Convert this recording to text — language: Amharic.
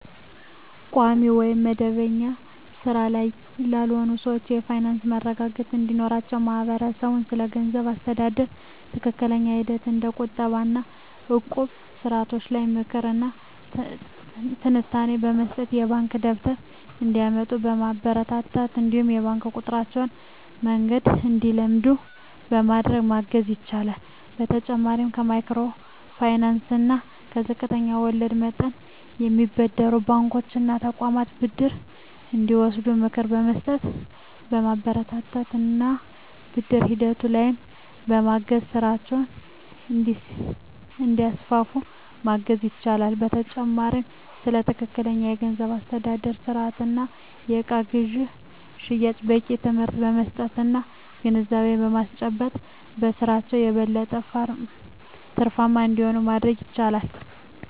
ቋሚ ወይም መደበኛ ሥራ ላይ ላልሆኑ ሰዎች የፋይናንስ መረጋጋት እንዲኖራቸው ማህበረሰቡ ስለገንዘብ አስተዳደር ትክክለኛ ሂደቶች እንደ ቁጠባ እና እቁብ ስርዓቶች ላይ ምክር እና ትንታኔ በመስጠት፣ የባንክ ደብተር እንዲያወጡ በማበረታታት እነዲሁም የባንክ የቁጠባ መንገድን እንዲለምዱ በማድረግ ማገዝ ይችላል። በተጨማሪም ከማይክሮ ፋይናንስ እና ዝቅተኛ ወለድ መጠን ከሚያበድሩ ባንኮች እና ተቋማት ብድር እንዲወስዱ ምክር በመስጠት፣ በማበረታታት እና ብድር ሂደቱ ላይም በማገዝ ስራቸውን እንዲያስፋፉ ማገዝ ይቻላል። በተጨማሪም ስለ ትክክለኛ የገንዘብ አስተዳደር ስርአት እና የእቃ ግዥና ሽያጭ በቂ ትምህርት በመስጠት እና ግንዛቤ በማስጨበጥ በስራቸው የበለጠ ትርፋማ እንዲሆኑ ማድረግ ይቻላል።